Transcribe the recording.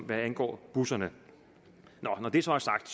hvad angår busserne når det så er sagt